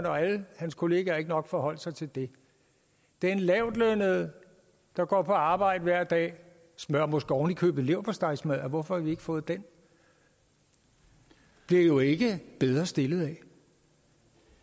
og alle hans kollegaer ikke nok forholde sig til det den lavtlønnede der går på arbejde hver dag smører måske oven i købet leverpostejmadder hvorfor har vi ikke fået den bliver jo ikke bedre stillet af